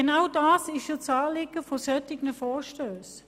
Genau das ist das Anliegen solcher Vorstösse.